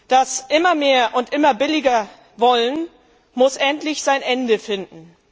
Das Immer mehr und Immer billiger Wollen, muss endlich sein Ende finden.